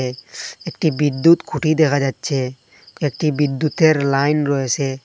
একটি বিদ্যুৎ খুঁটি দেখা যাচ্ছে একটি বিদ্যুতের লাইন রয়েসে।